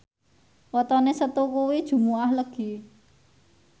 wetone Setu kuwi Jumuwah Legi